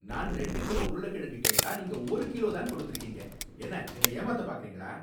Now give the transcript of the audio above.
நான் ரெண்டு கிலோ உருளைக்கிழங்கு கேட்டா நீங்க ஒரு கிலோ தான் கொடுத்துருக்கீங்க. என்ன என்னை ஏமாத்த பார்க்குறீங்களா?